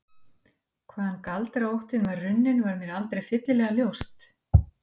Hvaðan galdraóttinn var runninn var mér aldrei fyllilega ljóst.